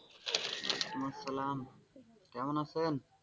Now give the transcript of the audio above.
ওয়াসালাম কেমন আছেন?